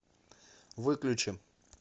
выключи